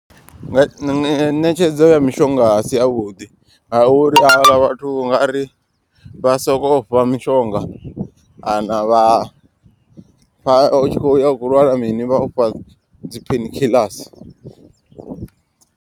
Nṋe ṋetshedzo ya mishonga a si ya vhuḓi ngauri havhaḽa vhathu unga ri vha sokou fha mishonga. Kana vha fha utshi kho uya u kho lwala mini vha ufha dzi pheini khiḽasi.